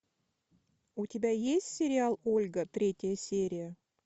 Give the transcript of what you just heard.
у тебя есть сериал ольга третья серия